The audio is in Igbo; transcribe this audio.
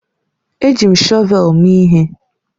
Eji m shọvel mee ihe